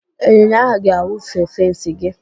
Ịnyịnya ahụ ga-awụfe fensị gị.